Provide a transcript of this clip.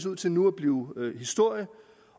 ud til nu at blive historie